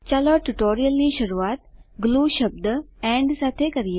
ચાલો ટ્યુટોરીયલની શરુઆત ગ્લુશબ્દ એન્ડ સાથે કરીએ